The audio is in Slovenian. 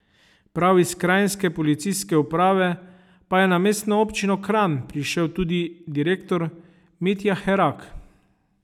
Prav iz kranjske policijske uprave pa je na mestno občino Kranj prišel tudi direktor Mitja Herak.